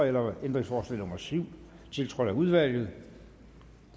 eller om ændringsforslag nummer syv tiltrådt af udvalget